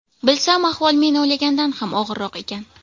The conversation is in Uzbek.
Bilsam, ahvol men o‘ylagandan ham og‘irroq ekan.